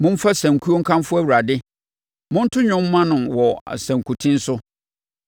Momfa sankuo nkamfo Awurade; monto dwom mma no wɔ sankuten so.